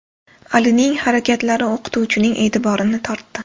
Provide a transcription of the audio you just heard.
Alining harakatlari o‘qituvchining e’tiborini tortdi.